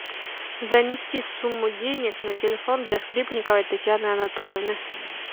занести сумму денег на телефон для скрипниковой татьяны анатольевны